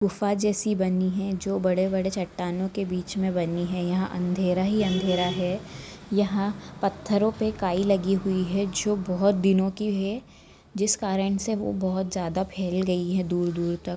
गुफा जैसी बनी है जो बड़े-बड़े चट्टानों के बीच मे बनी है यहाँ अंधेरा ही अंधेरा है यहाँ पत्थरों पे काई लागी हुई जो बहुत दिनों की है जिस कारण से वो फैल गई है दूर-दूर तक--